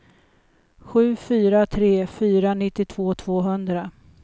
sju fyra tre fyra nittiotvå tvåhundra